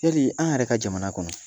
Yali an yɛrɛ ka jamana kɔnɔ